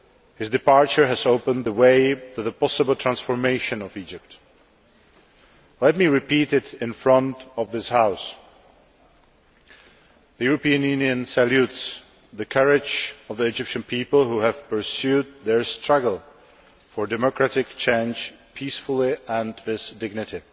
His departure has opened the way to the possible transformation of Egypt. Let me repeat this in front of this House the European Union salutes the courage of the Egyptian people who have pursued their struggle for democratic change peacefully and with dignity.